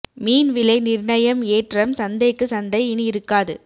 மீன் விலை நிர்ணயம் ஏற்றம் சந்தைக்கு சந்தை இனி இருக்காது